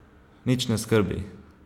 Nič ne skrbi!